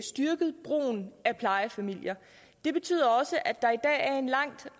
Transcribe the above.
styrket brugen af plejefamilier det betyder også at der er en lang